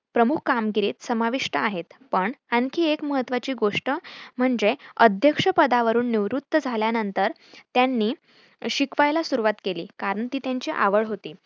प्रमुख कामगिरीत समाविष्ठ आहे पण आणखी एक महत्वाची गोष्ट म्हणजे अध्यक्ष पदावरुन निवृत्त झाल्यानंतर त्यांनी शिकवायला सुरुवात केली कारण ती त्यांची आवड होती.